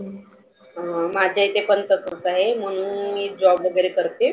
माझ्या इथे पण तसच आहे. म्हणून मी job वगैरे करते.